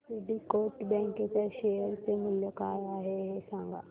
आज Syndicate bank च्या share चे मूल्य काय आहे हे सांगा